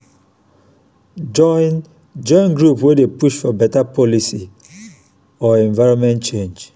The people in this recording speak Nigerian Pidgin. join join group wey dey push for beta policy or environment change